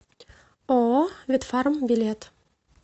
ооо ветфарм билет